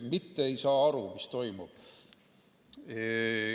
Mitte ei saa aru, mis toimub.